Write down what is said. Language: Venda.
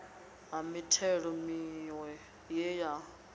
ha mithelo miwe ye ya